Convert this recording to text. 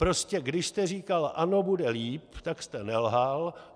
Prostě když jste říkal ano, bude líp, tak jste nelhal.